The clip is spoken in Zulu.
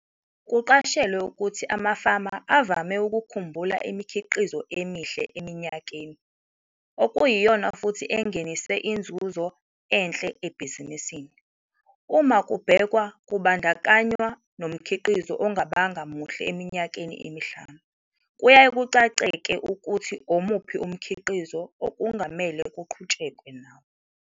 Kuqashelwe ukuthi amafama avame ukukhumbula uimikhiqizo emihle eminyakeni, okuyiyona futhi engenise inzuzo enhle ebhizisini. Uma kubhekwa kubandakannywa nomkhiqizo ongabanga muhle eminyakeni emihlanu, kuyaye kucace-ke ukuthi omuphi umkhiqizo okungamele kuqhutshekwe nawo.